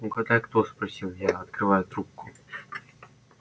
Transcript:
угадай кто спросил я открывая трубку